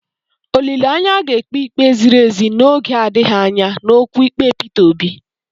Olileanya, a ga-ekpe ikpe ziri ezi n'oge adịghị anya n'okwu ikpe Peter Obi.